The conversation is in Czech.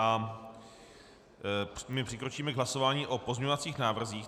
A my přikročíme k hlasování o pozměňovacích návrzích.